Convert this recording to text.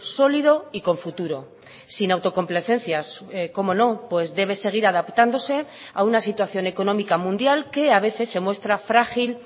sólido y con futuro sin autocomplacencias cómo no pues debe seguir adaptándose a una situación económica mundial que a veces se muestra frágil